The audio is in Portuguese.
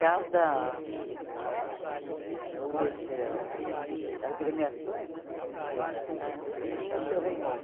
Cada ah dessas agremiações né ah tinha o seu rei Momo.